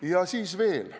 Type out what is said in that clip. Ja siis veel.